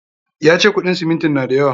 Ya ce kuɗin simintin na da yawa.